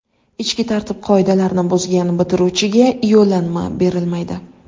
Ichki tartib-qoidalarni buzgan bitiruvchiga yo‘llanma berilmaydi.